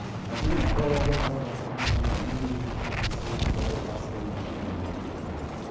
мәселен арал ауданындағы тұрғын саны елуге жетпейтін сегіз ауыл басқа елді мекендермен біріктірілген